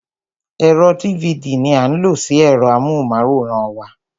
Ẹ̀rọ dívidì ní a ń lo sí ẹ̀rọ amóhùnmáwòrán wa.